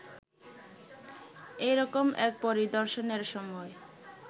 এরকম এক পরিদর্শনের সময়